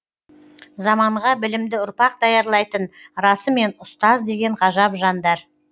заманға білімді ұрпақ даярлайтын расымен ұстаз деген ғажап жандар